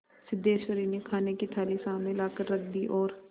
सिद्धेश्वरी ने खाने की थाली सामने लाकर रख दी और